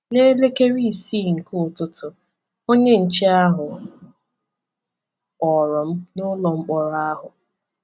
N’elekere isii nke ụtụtụ, onye nche ahụ kpọrọ m n’ụlọ mkpọrọ ahụ.